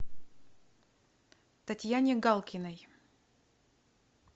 татьяне галкиной